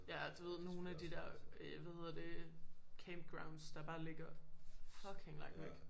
Ja du ved nogen af de der øh hvad hedder det camp grounds der bare ligger fucking langt væk